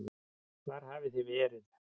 Hvar hafið þið verið?